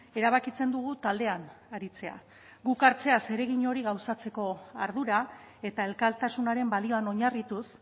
erabakitzen dugu taldean aritzea guk hartzea zeregin hori gauzatzeko ardura eta elkartasunaren balioan oinarrituz